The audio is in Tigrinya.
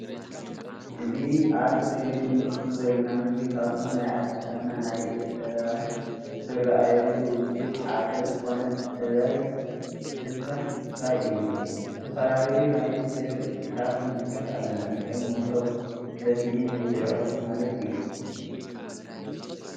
እዚ ኣብ እስክሪን እንምልከቶ ዘለና ምስሊ ካብቶም ናይ ኣዴታትና ናይ ኢደን ጥበብ ዝርኣየሉ ውጽኢት ሓደ ዝኮነ ጥበብ ስፈ ምስፋይ እዩ ።ዝተፈላለዩ ናይ ስፈ ውጽኢታት ንምልከት ኣለና። ከም ሞሰብ ሰፍኢ መብልዒ ቁርሲ ማለት እዩ።